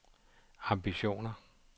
ambitioner